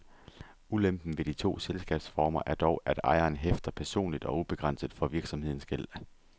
Ulempen ved de to selskabsformer er dog, at ejeren hæfter personligt og ubegrænset for virksomhedens gæld.